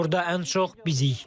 Burda ən çox bizik.